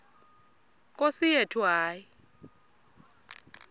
nkosi yethu hayi